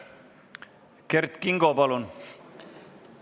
Kert Kingo, palun!